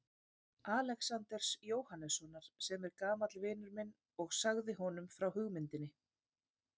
Alexanders Jóhannessonar, sem er gamall vinur minn og sagði honum frá hugmyndinni.